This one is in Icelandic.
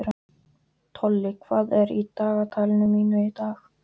Tolli, hvað er í dagatalinu mínu í dag?